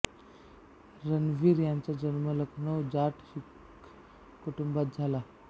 रणवीर यांचा जन्म लखनऊ जाट शीख कुटुंबात झाला